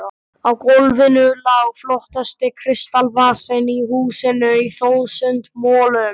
Á GÓLFINU LÁ FLOTTASTI KRISTALSVASINN Í HÚSINU Í ÞÚSUND MOLUM!